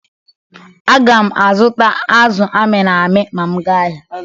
Agam azụta azụ mịrị amị ma m gaa ahịa.